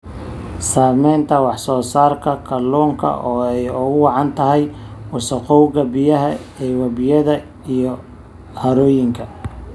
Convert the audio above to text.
Saamaynta wax-soo-saarka kalluunka oo ay ugu wacan tahay wasakhowga biyaha ee webiyada iyo harooyinka.